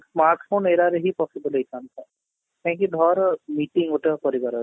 smart phone era ରେ ହିଁ possible ହେଇଥାନ୍ତା କାହିଁକି ଧର meeting ଗୋଟେ କରିବାର ଅଛି